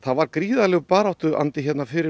var gríðarlegur baráttuandi hér fyrir